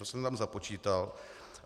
To jsem tam započítal.